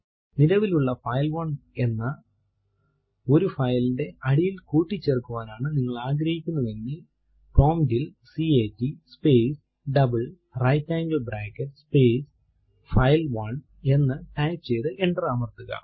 നിലവിലുള്ള ഫൈൽ1 എന്ന ഒരു file ന്റെ അടിയിൽ കൂട്ടിച്ചേർക്കുവാനാണ് നിങ്ങൾ ആഗ്രഹിക്കുന്നു എങ്കിൽ പ്രോംപ്റ്റ് ൽ കാട്ട് space double right angle bracket space file one എന്ന് ടൈപ്പ് ചെയ്തു എന്റർ അമർത്തുക